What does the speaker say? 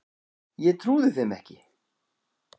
Ég trúði þeim ekki.